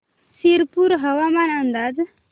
शिरपूर हवामान अंदाज